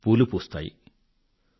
పూలు వికసిస్తాయిపూస్తాయి